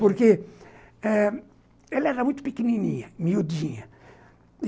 Porque ãh ela era muito pequenininha, miudinha.